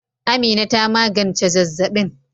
Amina ta magance zazzabin